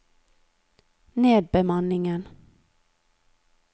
nedbemanningen